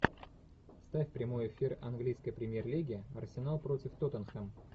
ставь прямой эфир английской премьер лиги арсенал против тоттенхэм